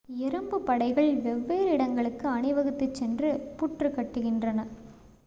எறும்புப் படைகள் வெவ்வேறு இடங்களுக்கு அணிவகுத்துச் சென்று புற்று கட்டுகின்றன